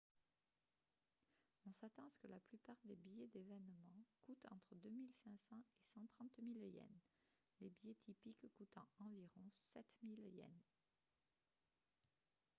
on s'attend à ce que la plupart des billets d'événements coûtent entre 2 500 et 130 000 yens les billets typiques coûtant environ 7 000 yens